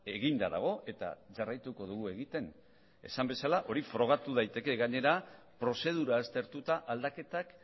eginda dago eta jarraituko dugu egiten esan bezala hori frogatu daiteke gainera prozedura aztertuta aldaketak